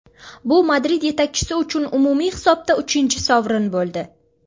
Bu Madrid yetakchisi uchun umumiy hisobda uchinchi sovrin bo‘ldi.